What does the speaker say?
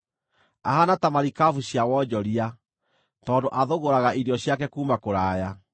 Ahaana ta marikabu cia wonjoria, tondũ athũgũraga irio ciake kuuma kũraya.